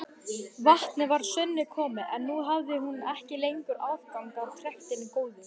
Vatnið var að sönnu komið, en nú hafði hún ekki lengur aðgang að trektinni góðu.